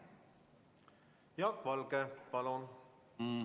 Jaak Valge, palun!